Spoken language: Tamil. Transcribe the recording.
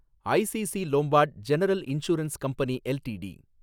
ICC Lombard General Insurance Company LTD